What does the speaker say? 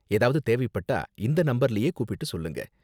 ஏதாவது தேவைப்பட்டா இந்த நம்பர்லயே கூப்பிட்டு சொல்லுங்க.